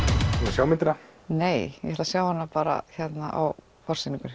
sjá myndina nei ég ætla að sjá hana bara á